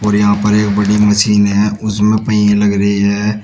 और यहां पर एक बड़ी मशीन है उसमे पहिए लग रही है।